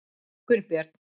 Gunnbjörn